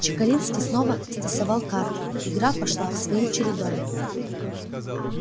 чекалинский снова стасовал карты игра пошла своим чередом